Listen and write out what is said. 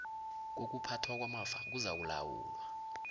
kokuphathwa kwamafa kuzakulawulwa